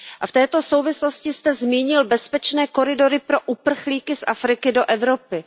V této souvislosti jste zmínil bezpečné koridory pro uprchlíky z Afriky do Evropy.